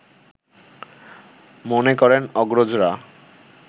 মনে করেন অগ্রজরা